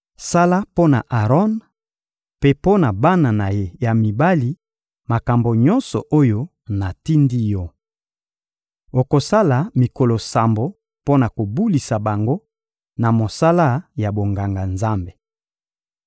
Sala mpo na Aron mpe mpo na bana na ye ya mibali makambo nyonso oyo natindi yo. Okosala mikolo sambo mpo na kobulisa bango na mosala ya bonganga-Nzambe.